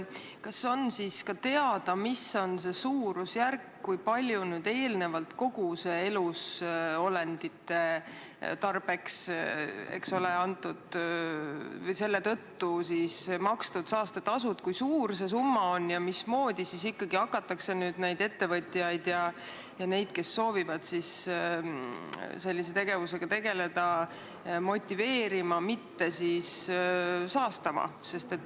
Kas on siis ka teada, mis on see suurusjärk, kui suur see eelnevalt elusolendite tõttu makstud saastetasude summa on ja mismoodi ikkagi hakatakse neid ettevõtjaid ja neid, kes soovivad sellise tegevusega tegeleda, motiveerima, et nad ei saastaks?